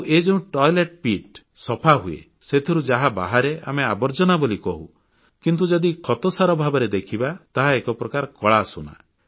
ଆଉ ଏ ଯେଉଁ ପାଇଖାନା ଟାଙ୍କି ସଫାହୁଏ ସେଥିରୁ ଯାହା ବାହାରେ ଆମେ ଆବର୍ଜନା ବୋଲି କହୁ କିନ୍ତୁ ଯଦି ଖତସାର ଭାବରେ ଦେଖିବା ତାହା ଏକ ପ୍ରକାରର କଳା ସୁନା